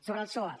sobre els soaf